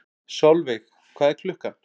Solveig, hvað er klukkan?